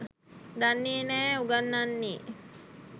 දන්නේ නෑ උගන්නන්නේ